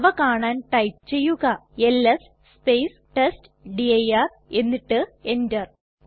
അവ കാണാൻ ടൈപ്പ് ചെയ്യുക എൽഎസ് ടെസ്റ്റ്ഡിർ എന്നിട്ട് enter അമർത്തുക